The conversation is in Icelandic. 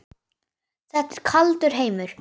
Þetta er kaldur heimur.